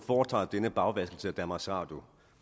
foretager denne bagvaskelse af danmarks radio